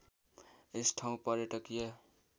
यस ठाउँ पर्यटकीय